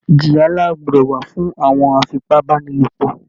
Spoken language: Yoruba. Ìjìyà ńlá gbọdọ̀ wà fún àwọn afipábánilòpọ̀